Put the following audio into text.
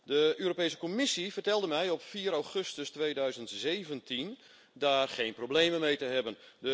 De Europese Commissie vertelde mij op 4 augustus 2017 daarmee geen problemen te hebben.